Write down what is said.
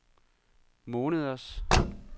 måneders